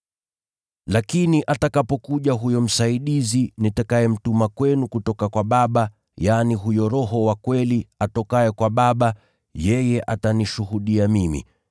“Lakini atakapokuja huyo Msaidizi nitakayemtuma kwenu kutoka kwa Baba, yaani, huyo Roho wa kweli atokaye kwa Baba, yeye atanishuhudia mimi.